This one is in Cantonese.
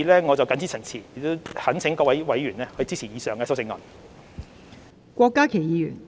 我謹此陳辭，懇請各位委員支持以上修正案。